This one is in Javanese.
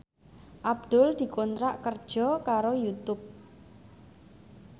Abdul dikontrak kerja karo Youtube